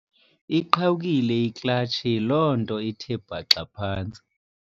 Iqhawukile iklatshi, yiloo nto ithe bhaxa phantsi.